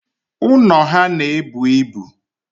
Ụnọ ha na-ebu ibu.